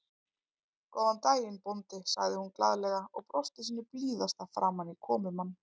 Góðan daginn, bóndi sagði hún glaðlega og brosti sínu blíðasta framan í komumann.